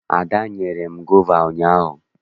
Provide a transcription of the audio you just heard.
Ada nyere m gova ụnyaahụ.